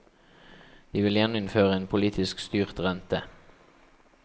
De vil gjeninnføre en politisk styrt rente.